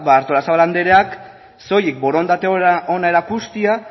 artolazabal andereak soilik borondate hona erakustea